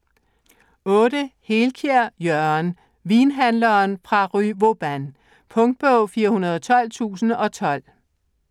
Helkiær, Jørgen: Vinhandleren fra rue Vauban Punktbog 412012